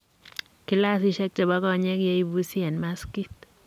klasisiek che bo konyek ye ibusi eng maskit.